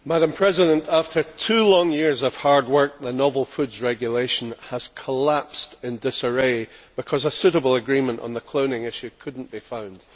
Madam President, after two long years of hard work, the Novel Foods Regulation has collapsed in disarray because a suitable agreement on the cloning issue could not be found.